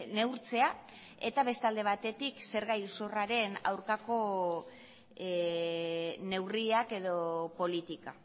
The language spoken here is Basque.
neurtzea eta beste alde batetik zerga iruzurraren aurkako neurriak edo politika